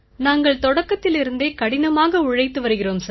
நாங்கள் தொடக்கத்திலிருந்தே கடினமாக உழைத்து வருகிறோம் சார்